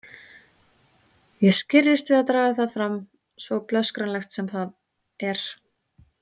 Ég skirrist við að draga það fram, svo blöskranlegt sem það er.